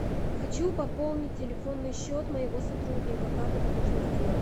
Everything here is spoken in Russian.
хочу пополнить телефонный счет моего сотрудника как это можно сделать